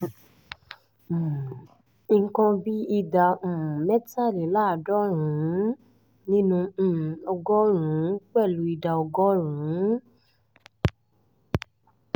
um nǹkan bíi ìdá um mẹ́tàléláàádọ́rùn-ún nínú um ọgọ́rùn-ún pẹ̀lú ìdá ọgọ́rùn-ún